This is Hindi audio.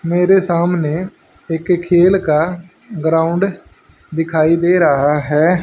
मेरे सामने एक खेल का ग्राउंड दिखाई दे रहा है।